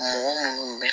Mɔgɔ minnu bɛ